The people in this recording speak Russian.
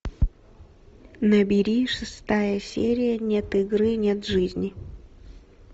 набери шестая серия нет игры нет жизни